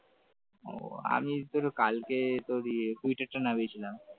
ও আমি তোরে কালকে তোর ইয়ে টুইটারটা নামিয়েছিলাম ।